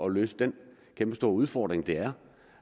at løse den kæmpestore udfordring det er